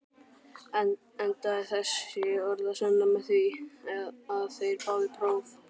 Endaði þessi orðasenna með því, að þeir báðu próf.